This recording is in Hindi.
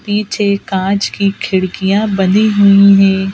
पीछे कांच की खिड़कियां बंधी हुई हैं।